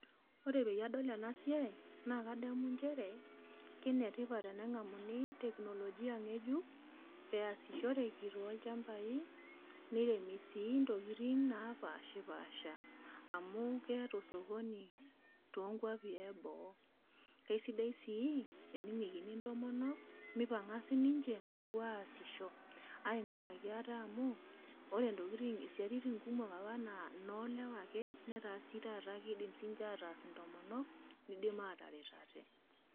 Ore peyie adol ena siai naa kadamu njere kenetip tenenkamu teknologia nkejuk easishore too chambai, niremi sii intokitin naapashiipasha amu keeta osokoni toonkuapi eboo. Esidai sii tenejoki intomonok mipanka sininje apuo aasisho ainkuraki ate amu, ore isiatin apa kumok naa inoolewa ake, netaa sii taata kiidim sininje aatas intomonok niidim ataret ate.